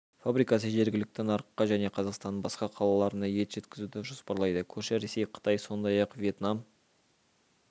фабрикасы жергілікті нарыққа және қазақстанның басқа қалаларына ет жеткізуді жоспарлайды көрші ресей қытай сондай-ақ вьетнам